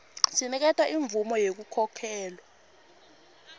sinikete imvumo yekukhokhelwa